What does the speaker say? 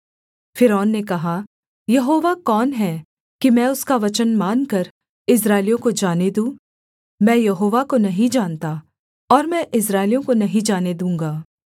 फ़िरौन ने कहा यहोवा कौन है कि मैं उसका वचन मानकर इस्राएलियों को जाने दूँ मैं यहोवा को नहीं जानता और मैं इस्राएलियों को नहीं जाने दूँगा